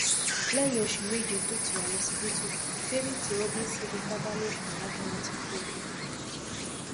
lẹyìn oṣù méje tó ti wà lọsibítù favy tí robinson fipá bá lò pọ lagbára ti kú o